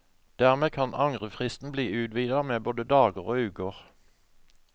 Dermed kan angrefristen bli utvidet med både dager og uker.